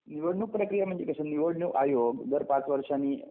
निवडणुक प्रक्रिया म्हणजे कशी निवडणूक आयोग जर पाच वर्षांनी